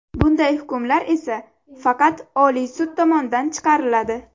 Bunday hukmlar esa faqat Oliy sud tomonidan chiqariladi.